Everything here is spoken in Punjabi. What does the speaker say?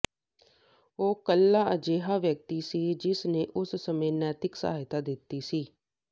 ਉਹ ਇਕੱਲਾ ਅਜਿਹਾ ਵਿਅਕਤੀ ਸੀ ਜਿਸ ਨੇ ਉਸ ਸਮੇਂ ਨੈਤਿਕ ਸਹਾਇਤਾ ਦਿੱਤੀ ਸੀ